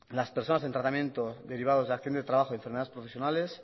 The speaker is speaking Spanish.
las personas en tratamiento derivados de acción de trabajo y enfermedades profesionales